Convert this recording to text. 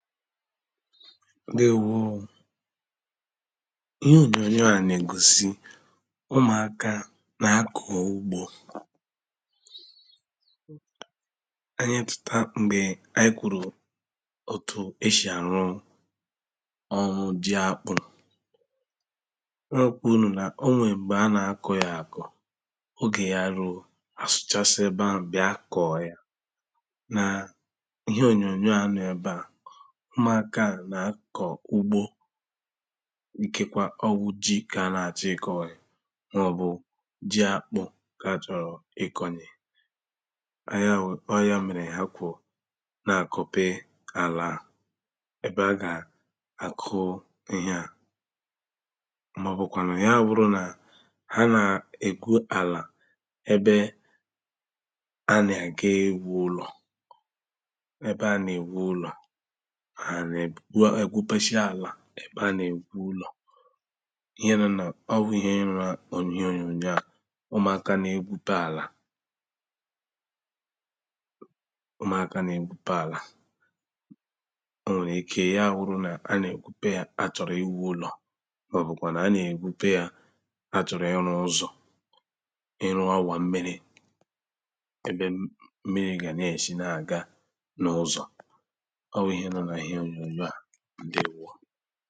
Ǹdeēwo ōō Ihe ònyònyò à nà ègosì Ụmụ̀aka nà-akọ̀ ugbo Ànyi echèta m̀gbè ànyi kwùrù òtù eshì àru ọrụ ọrụ jì ákpú ọ gwa unū nà o nwèe m̀gbè à nà-akọ̀ yà akọ̀ ogè yà ruō, à suchasiā ebe ahụ̀ bị̀ā koō yà Nà ihe ònyònyò à nọ ebe à Ụmụ̀aka à nà akọ̀ ugbo Ikekwa ọ́ wụ́ ji kà à nà-àchọ ikọ̀nyè Mà ọ bụ ji akpụ kà achọrọ ikonye Ọ yà wụ.. ọ yà mèrè há kʷóō Nà àkope àlà à Ebe a ga-àku ihe à Mà ọ bụkwànụ yà wụrụ nà ha nè:gwu àlà ebe A nà-agà ìwu ụlọ̀ Ebe a nà-èwu ụlọ Ha nà èbu.. gʷa.. ègʷupeʃi àlà ebe a nà-èwu ụlọ̀ Ihe nọ nà, ọ́ wụ́ ihe nɔ́ nà íɦé ònyònyò à ʊ́mʊ̀áká nà-ègwupe àlà Ʊ́mʊ̀áká nà-ègwupe àlà O nwèrè ike yà wuru nà a nà ègwupe yà a àchoro ìwu ulò, mà ọ bụkwànù a nà ègwupe yà àchoro ị̀rụ ụzọ̀. Ị̀rụ awà m̀mìri Ebe m̀mì.. m̀mìrí gá nà-eʃi nà-agā n’ ụzọ̀ Ọ́ wụ́ ihe nɔ́ nà íɦé ònyònyò à Ǹdeēwo